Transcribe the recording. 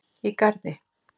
í Garði.